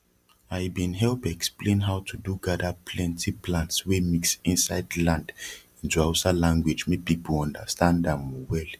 i bin help explain how to do gada plenti plants wey mix insid land into hausa language make people understand am well